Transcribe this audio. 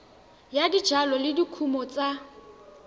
ya dijalo le dikumo tsa